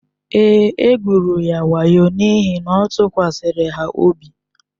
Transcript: Èé, e gwụrụ ya wayo n’ihi na ọ tụkwasịrị ha obi.